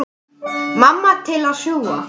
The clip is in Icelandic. Mamma til að sjúga.